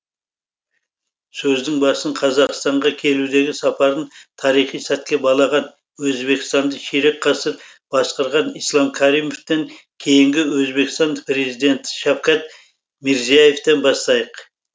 сөздің басын қазақстанға келудегі сапарын тарихи сәтке балаған өзбекстанды ширек ғасыр басқарған ислам каримовтың кейінгі өзбекстан президенті шавкат мирзияевтен бастайық